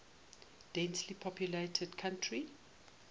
densely populated country